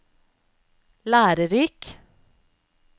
lærerik